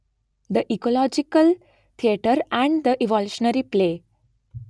the ecological theatre and the evolutionary play